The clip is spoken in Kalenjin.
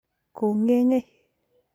kongengei